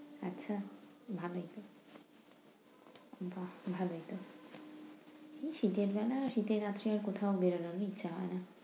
আচ্ছা ভালোই। বাহ! ভালোই। এই শীতের বেলা শীতের রাত্রে কোথাও বেরুনোর ইচ্ছা হয় না।